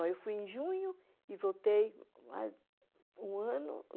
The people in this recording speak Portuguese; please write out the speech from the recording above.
Eu fui em junho e voltei um ano.